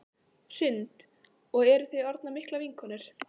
Hrund: Og eruð þið orðnar miklar vinkonur?